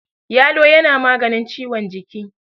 yalo yana maganin ciwon jiki